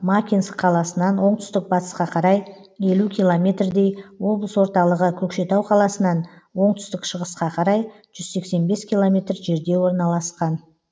макинск қаласынан оңтүстік батысқа қарай елу километрдей облыс орталығы көкшетау қаласынан оңтүстік шығысқа қарай жүз сексен бес километр жерде орналасқан